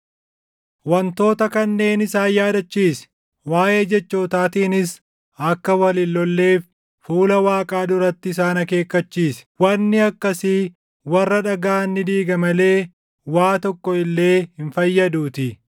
Wantoota kanneen isaan yaadachiisi; waaʼee jechootaatiinis akka wal hin lolleef fuula Waaqaa duratti isaan akeekkachiisi; wanni akkasii warra dhagaʼan ni diiga malee waa tokko illee hin fayyaduutii.